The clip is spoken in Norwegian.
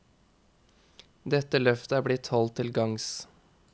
Dette løftet er blitt holdt til gagns.